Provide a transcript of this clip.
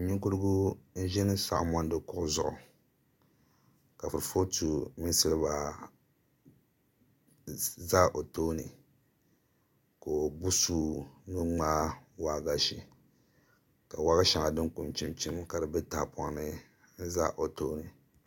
Ninkurugu n ʒi saɣa mondi kuɣu zuɣu ka kuripooti mini silba ʒɛ o tooni ka o gbubi suu ni o ŋmaai waagashe ka waagashe maa din pun chim chim ka di bɛ tahapoŋ ni n ʒɛ o tooni